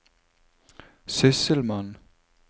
sysselmann